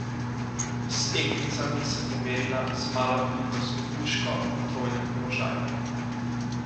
S tekmicami se bo merila z malokalibrsko puško v trojnem položaju.